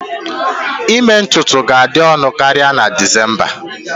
Ime ntutu ga-adị ọnụ karịa na December